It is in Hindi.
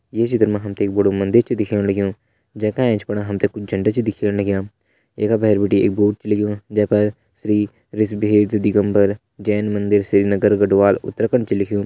ये चित्र मा हम ते एक बड़ु मंदिर छ दिखेण लग्युं जै का एंच फण हम ते कुछ झंडा छ दिखेण लग्यां ये का भैर बिटि एक बोर्ड छ लग्युं जै पर श्री ऋषब देव दिगम्बर जैन मंदिर श्रीनगर गढ़वाल उत्तराखण्ड छ लिख्युं।